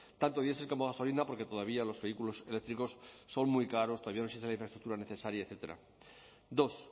tanto diesel como gasolina porque todavía los vehículos eléctricos son muy caros todavía la infraestructura necesaria etcétera dos